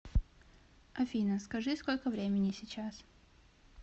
афина скажи сколько времени сейчас